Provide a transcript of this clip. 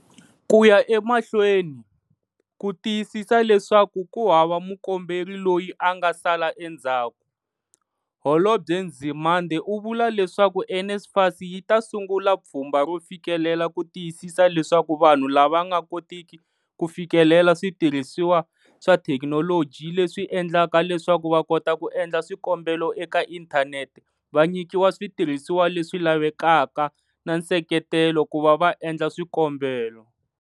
Ku ya emahlweni, ku tiyisisa leswaku ku hava mukomberi loyi a nga sala endzhaku, Holobye Nzimande u vula leswaku NSFAS yi ta sungula pfhumba ro fikelela ku tiyisisa leswaku vanhu lava nga kotiki ku fikelela switirhisiwa swa thekinoloji leswi endlaka leswaku va kota ku endla swikombelo eka inthanete va nyikiwa switirhisiwa leswi lavekaka na nseketelo ku va va endla swikombelo.